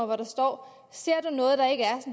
hvor der står ser du noget